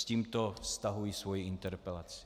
S tímto stahuji svoji interpelaci.